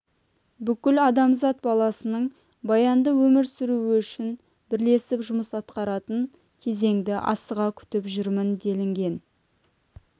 бүкіл адамзат баласының баянды өмір сүруі үшін бірлесіп жұмыс атқаратын кезеңді асыға күтіп жүрмін делінген